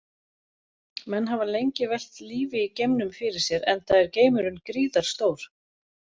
Menn hafa lengi velt lífi í geimnum fyrir sér enda er geimurinn gríðarstór.